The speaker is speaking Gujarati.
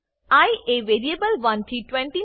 આઇ એ વેરીએબલ 1 થી 20